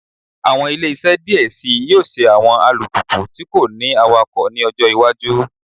Awọn ile-iṣẹ diẹ sii yoo ṣe awọn alupupu ti ko ni awakọ ni ọjọ iwaju